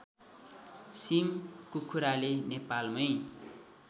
SIM कुखुराले नेपालमै